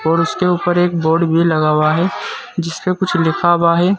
और उसके ऊपर एक बोर्ड भी लगा हुआ हैं जिसपे कुछ लिखा हुआ है।